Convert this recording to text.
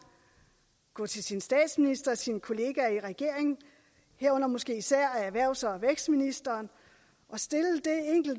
gå til sin statsminister og sine kollegaer i regeringen herunder måske især erhvervs og vækstministeren og stille